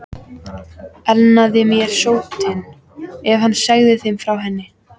Elnaði mér sóttin, ef hún segði þeim frá henni?